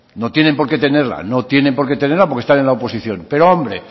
no tienen por qué tenerla no tienen por qué tenerla porque están en la oposición pero hombre